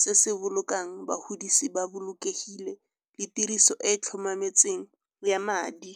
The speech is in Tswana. se se bolokang bagodise ba bolokegile le tiriso e e tlhomametseng ya madi.